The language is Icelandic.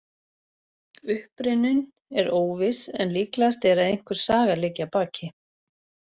Uppruninn er óviss en líklegast er að einhver saga liggi að baki.